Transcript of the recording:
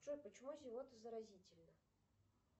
джой почему зевота заразительна